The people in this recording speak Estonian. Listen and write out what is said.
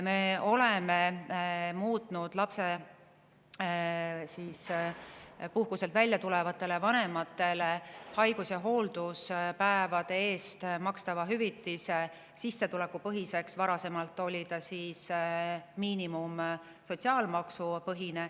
Me oleme muutnud lapsepuhkuselt välja tulevatele vanematele haigus- ja hoolduspäevade eest makstava hüvitise sissetulekupõhiseks, varem oli see miinimumsotsiaalmaksupõhine.